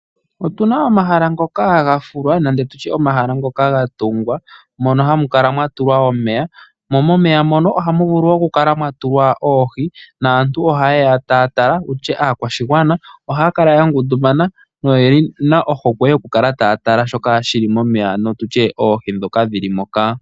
Otu na omahala ngoka gafulwa nenge tu tye omahala ngoka gatungwa mono hamu kala mwatulwa omeya mo momeya mono ohamu vulu okukala mwa tulwa oohi naantu ohaye ya taya tala. Aakwashigwana ohaya kala yangundumana noye na ohokwe yokukala taya tala shoka shi li momeya ano tu tye oohi ndhoka dhili moka.